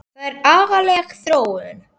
Það er agaleg þróun.